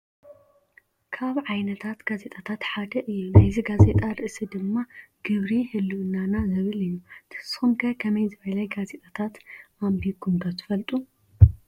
ካብ ዓይነታት ጋዜጣታት ሓደ እዩ ናይዚ ጋዜጣ ርእሲ ድማ ግብሪ ህልውናና ዝብል እዩ። ንስኩም ከ ከምይ ዝበለ ጋዜጣታት ኣንብብኩም ዶ ትፈልጡ ?